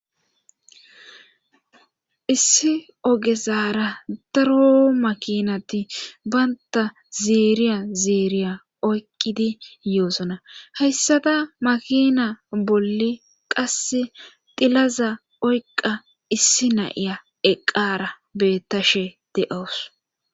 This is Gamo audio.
issi ogesaara daro makinati baynta zeeriya zeeriya oyqqidi yoosona hayssada makina bolle qasse dilaza oyqa issi naiya eqqara beettashe de7owos